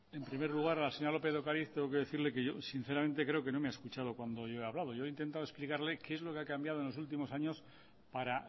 en primer lugar a la señora lópez de ocariz tengo que decirle que yo sinceramente creo que no me ha escuchado cuando yo he hablado yo he intentado explicarle qué es lo que ha cambiado en los últimos años para